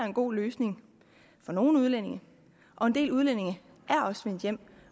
en god løsning for nogle udlændinge og en del udlændinge er også vendt hjem